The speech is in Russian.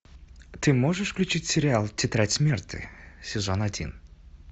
ты можешь включить сериал тетрадь смерти сезон один